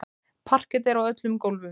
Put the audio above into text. Parket er á öllum gólfum.